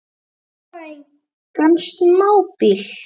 Og það engan smábíl.